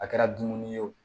A kɛra dumuni ye o